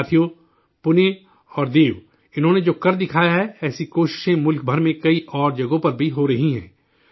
ساتھیو، پونے اور دیو انہوں ے جو کر دکھایا ہے، ایسی کوششیں ملک بھر میں کئی اور جگہوں پر بھی ہو رہی ہیں